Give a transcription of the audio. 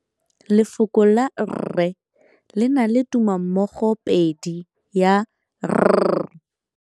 Lefoko la rre le na le tumammogôpedi ya, r.